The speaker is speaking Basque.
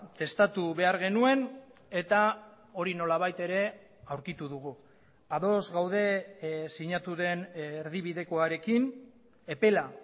testatu behar genuen eta hori nolabait ere aurkitu dugu ados gaude sinatu den erdibidekoarekin epela